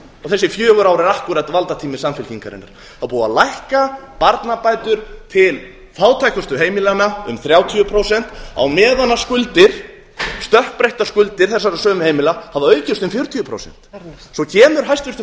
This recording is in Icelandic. þessi fjögur ár eru akkúrat valdatími samfylkingarinnar það er búið að lækka barnabætur til fátækustu heimilanna um þrjátíu prósent á meðan skuldir stökkbreyttar skuldir þessara sömu heimila hafa aukist um fjörutíu prósent svo kemur hæstvirtur